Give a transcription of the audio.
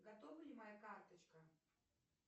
готова ли моя карточка